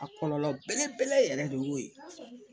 A kɔlɔlɔ belebele yɛrɛ de y'o ye